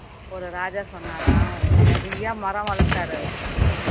ஒரு ராஜா சொன்னாராம் ஓ~ நிறைய மரம் வளர்த்தாரு